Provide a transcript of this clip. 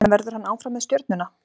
En verður hann áfram með Stjörnuna?